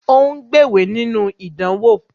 Ó ń gbéwèé nínú ìdánwò